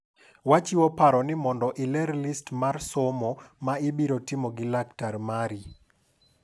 Wachiwo paro ni mondo iler list mar somo ma ibiro timo gi laktar mari.